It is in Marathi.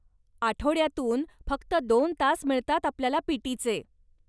आठवड्यातून फक्त दोन तास मिळतात आपल्याला पी.टी.चे.